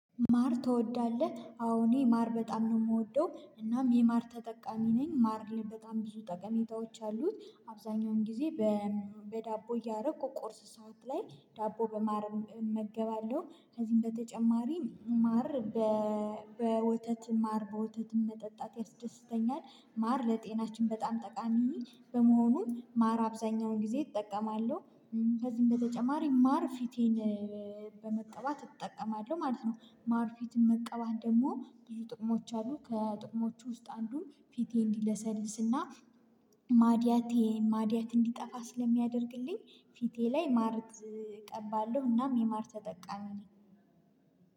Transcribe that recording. ማር ትወዳለህ አዎ እኔ ማር በጣም ነው የምወደው እናም የማር ተጠቃሚ ነኝ ማር በጣም ብዙ ጠቀሜታዎች አሉት አብዛኛውን ጊዜ። በዳቦ እያረኩ ቁርስ ሰዓት ላይ ዳቦ በማር እመገባለሁ ከዚህም በተጨማሪ ማር። በወተት ማር በወተት መጠጣት ያስደስተኛል ማር ለጤናችን በጣም ጠቃሚ በመሆኑ ማር አብዛኛውን ጊዜ እጠቀማለሁ። ከዚህም በተጨማሪ ማር ፊቴን በመቀባት እጠቀማለሁ ማለት ነው። ማር ፊትን መቀባት ደግሞ ብዙ ጥቅሞች አሉ ከጥቅሞቹ ውስጥ አንዱ ፊቴ እንዲለሰልስና ማድያቴ የማድያት እንዲጠፋ ስለሚያደርግልኝ። ፊቴ ላይ ማር እቀባለሁ እናም የማር ተጠቃሚ ነኝ።